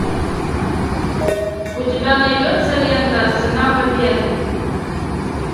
у тебя найдется лента цена победы